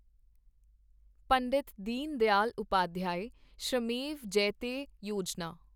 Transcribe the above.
Pandit Deendayal Upadhyaya Shramev Jayate Yojana